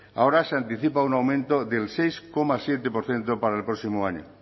ahora se anticipa un aumento del seis coma siete por ciento para el próximo año